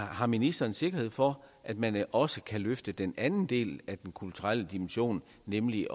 har ministeren sikkerhed for at man også kan løfte den anden del af den kulturelle dimension nemlig